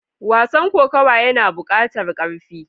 Wasa kokawa yana bukatar karfi.